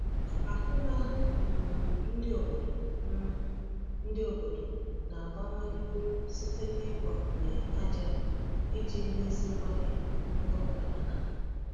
Ahụmahụ um ndị obodo um ndị obodo na-abawanye uru site n’ịgbakwunye ájá iji meziwanye mkpụrụ banana.